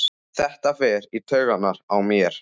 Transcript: Þetta fer í taugarnar á mér.